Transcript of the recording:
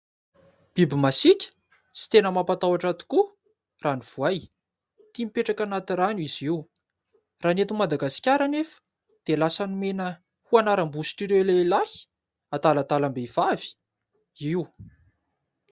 Biby masiaka sy tena mampatahotra tokoa raha ny Voay. Tia mipetraka anaty rano izy io, raha ny eto Madagasikara anefa, dia lasa nomena ho anaram-bositr' ireo lehilahy adaladalam-behivavy io.